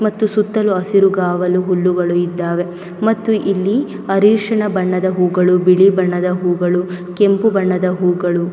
ಮತ್ತು ಸುತ್ತಲೂ ಹಸಿರುಗಾವಲು ಹುಲ್ಲುಗಳು ಇದಾವೆ ಮತ್ತು ಇಲ್ಲಿ ಅರಶಿನ ಬಣ್ಣದ ಹೂಗಳು ಬಿಳಿ ಬಣ್ಣದ ಹೂಗಳು ಕೆಂಪು ಬಣ್ಣದ ಹೂಗಳು--